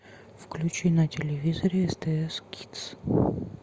включи на телевизоре стс кидс